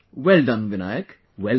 Well done Vinayak, well done